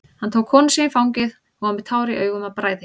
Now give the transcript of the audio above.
Hann tók konu sína í fangið, hún var með tár í augum af bræði.